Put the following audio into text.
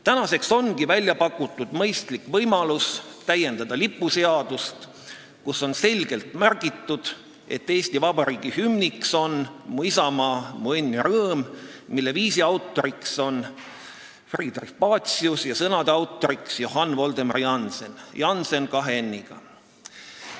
Tänaseks ongi välja pakutud mõistlik võimalus täiendada lipuseadust, kus oleks edaspidi selgelt märgitud, et Eesti Vabariigi hümn on "Mu isamaa, mu õnn ja rõõm", mille viisi autor on Friedrich Pacius ja sõnade autor Johann Voldemar Jannsen, Jannsen kahe n-iga.